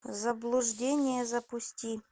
заблуждение запусти